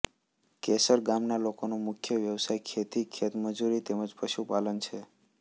કેસરગામ ગામના લોકોનો મુખ્ય વ્યવસાય ખેતી ખેતમજૂરી તેમ જ પશુપાલન છે